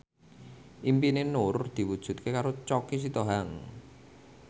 impine Nur diwujudke karo Choky Sitohang